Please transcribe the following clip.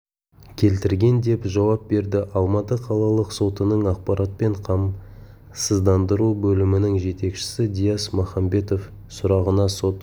келтірген деп жауап берді алматы қалалық сотының ақпаратпен қамсыздандыру бөлімінің жетекшісі дияс махамбетов сұрағына сот